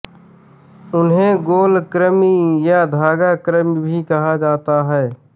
इन्हें गोल कृमि या धागा कृमि भी कहा जाता है